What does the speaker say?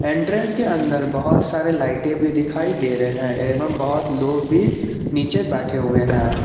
Entrance के अंदर बहुत सारे लाइटें भी दिखाई दे रहे हैं एवं बहुत लोग भी नीचे बैठे हुए हैं।